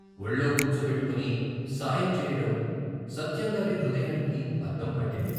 వొళ్ళో కూర్చోబెట్టుకుని సాయం చెయ్యడం, సత్యంగారి హృదయానికి అద్దం పట్టింది.